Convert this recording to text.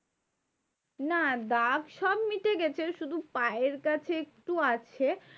না দাগ সব মিটে গেছে, শুধু পায়ের কাছে একটু আছে।